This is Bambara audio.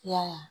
I y'a ye